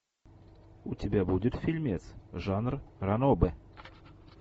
у тебя будет фильмец жанр ранобэ